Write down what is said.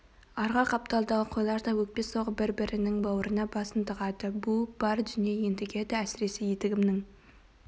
арғы қапталдағы қойлар да өкпе соғып бір-бірінің бауырына басын тығады буып бар дүние ентігеді әсіресе етігімнің